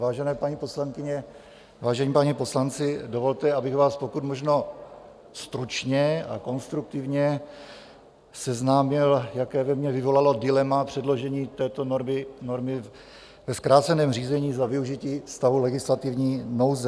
Vážené paní poslankyně, vážení páni poslanci, dovolte, abych vás pokud možno stručně a konstruktivně seznámil, jaké ve mně vyvolalo dilema předložení této normy ve zkráceném řízení za využití stavu legislativní nouze.